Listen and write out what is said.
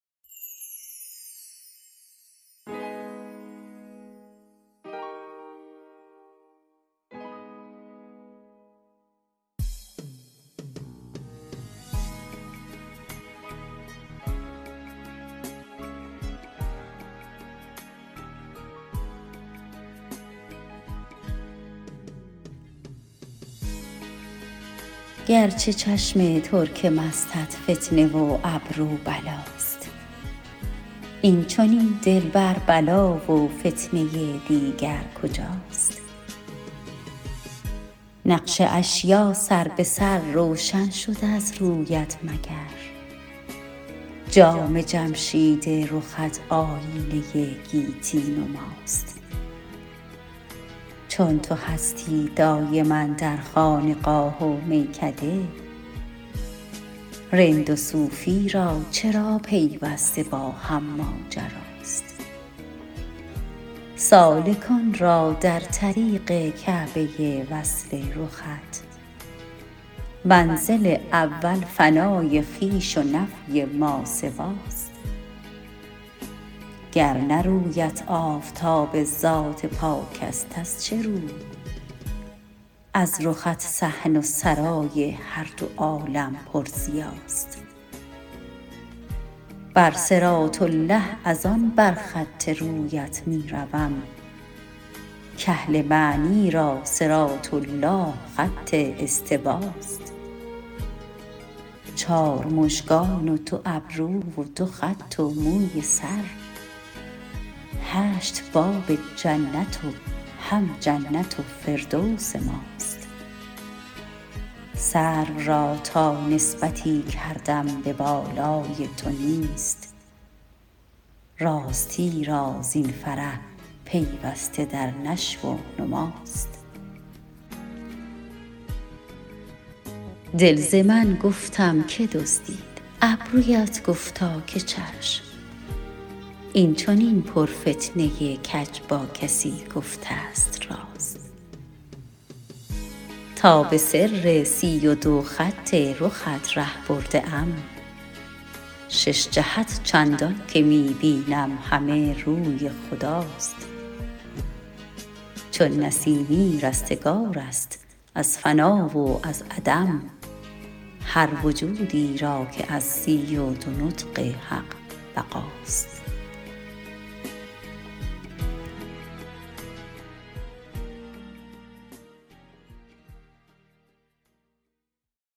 گرچه چشم ترک مستت فتنه و ابرو بلاست این چنین دلبر بلا و فتنه دیگر کجاست نقش اشیا سر به سر روشن شد از رویت مگر جام جمشید رخت آیینه گیتی نماست چون تو هستی دایم اندر خانقاه و میکده رند و صوفی را چرا پیوسته باهم ماجراست سالکان را در طریق کعبه وصل رخت منزل اول فنای خویش و نفی ماسواست گر نه رویت آفتاب ذات پاک است از چه رو از رخت صحن سرای هر دو عالم پر ضیاست بر صراط الله از آن بر خط رویت می روم کاهل معنی را صراط الله خط استواست چار مژگان و دو ابرو و دو خط و موی سر هشت باب جنت و هم جنت و فردوس ماست سرو را تا نسبتی کردم به بالای تو نیست راستی را زین فرح پیوسته در نشو و نماست دل ز من گفتم که دزدید ابرویت گفتا که چشم این چنین پرفتنه کج با کسی گفته است راست تا به سر سی و دو خط رخت ره برده ام شش جهت چندانکه می بینم همه روی خداست چون نسیمی رستگار است از فنا و از عدم هر وجودی را که از سی و دو نطق حق بقاست